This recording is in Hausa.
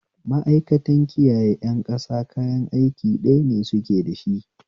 Ma'aikantan kiyaye ƴan ƙasa kayan aiki ɗaya ne suke dashi